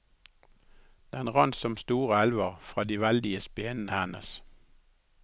Den rant som store elver fra de veldige spenene hennes.